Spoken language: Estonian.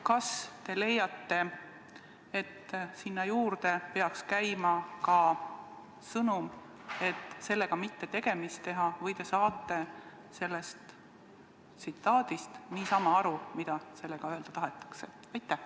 Kas te leiate, et sinna juurde peaks käima ka sõnum, et sellega mitte tegemist teha, või te saate sellest tsitaadist niisama aru, mida sellega öelda tahetakse?